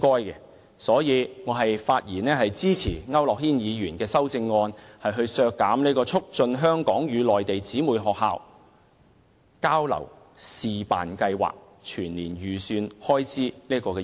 因此，我發言支持區諾軒議員的修正案，削減"促進香港與內地姊妹學校交流試辦計劃"的預算開支。